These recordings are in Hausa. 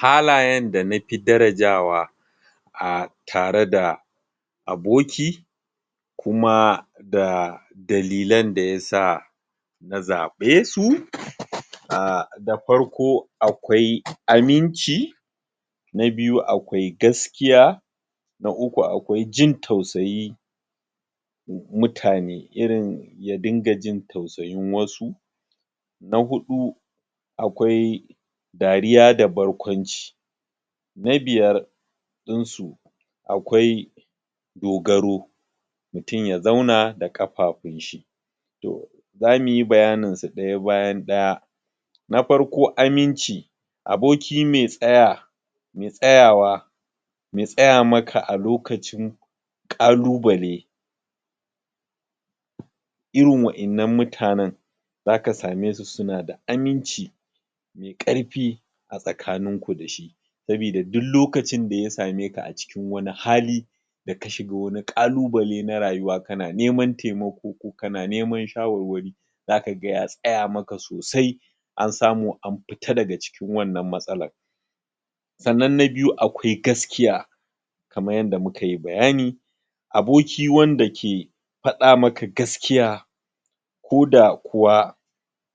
Halayen da nafi darajawa a tare da aboki kuma da dalilan dayasa na zabe su um um da farko akwai aminci na biyu akwai gaskiya na ukun akwai jin tausayi mutane irin ya dinga jin tausayin wasu na hudu akwai dariya da barkwanci na biyar dinsu akwai dogaro mutum ya zauna da kafafun shi to zamuyi baya nin su daya bayan daya na farko aminci aboki me tsaya me tsayawa me tsaya maka alokacin kalu bale irin wadan nan muta nen zaka same su suna da aminci me karfi a tsakanin ku dashi saboda duk lokacin daya sameka acikin wani hali da ka shiga kalu bale na rayuwa kana neman temako kana neman shawarwari zakaga ya tsayama ka sosai an samu amfita daga cikin wannan matsalan sannan na biyu akwai gaskiya kamar yadda mukayi bayani aboki wanda ke fadamaka gaskiya koda kuwa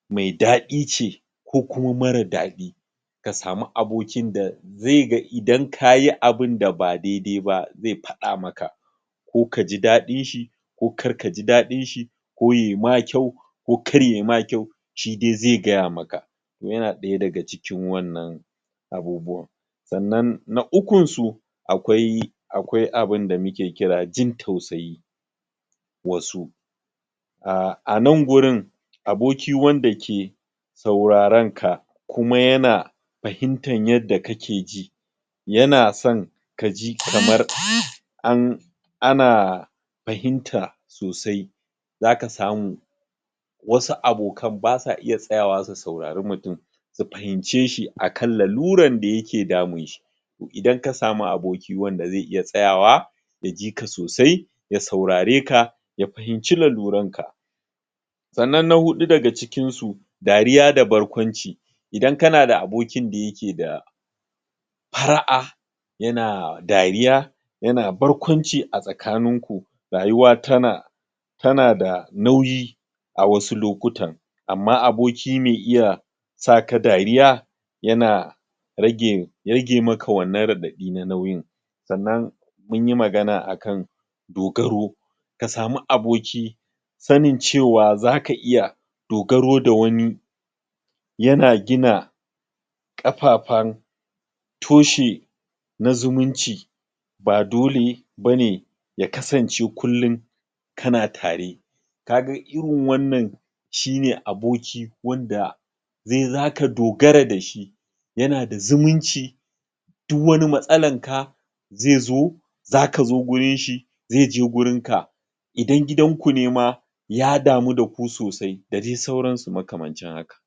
me dadi ce ko kuma mara dadi kasamu abokin da ze ga idan kayi abun da ba daidai ba ze fada maka ko kaji dadinshi ko mkarkaji dadinshi ko yayi ma kyau ko karyayima kyau shidai ze gayamaka yana daya daga cikin wannan abubuwan sannan na ukun su akwai akwai abun da muke kira jin tausayi wasu um anan wurin aboki wanda ke saurarenka kuma yana fahimtar yadda kake ji yana son kaji kamar an ana fahimta sosai zaka samu wasu abokan basa iya tsayawa su saurari mutum su fahimce shi akan lalurar dayake damun shi idan kasamu aboki wanda ze iya tsayawa ya jika sosai ya saurareka ya fahimci lalurunka sannan na hudu daga cikin su dariya da barkwanci idan kana da abokin daya ke da fara'a yana dariya yana barkwanci a tsakanin ku rayuwa tana tana da nauyi a wasu lokutan amma aboki me iya saka dariya yana rage ragemaka wannan radadi na nauyin sannan munyi magana akan dogaro ka samu aboki sanin cewa zaka iya dogaro da wani yana gina kafafen toshe na zumunci ba dole bane yakasance kullum tana tare kaga irin wannan shine aboki wanda ze daka dogara dashi yana da zumunci duk wani matsalanka ze zo zakaje wuri shi ze zo wurinka idan gidan ku nema ya damu daku sosai da sauran su makamancin haka